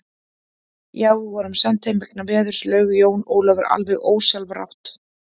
Já, við vorum send heim vegna veðurs, laug Jón Ólafur alveg ósjálfrátt.